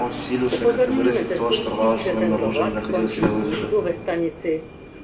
он силился как-то выразить то что рвалось в нём наружу и не находило себе выхода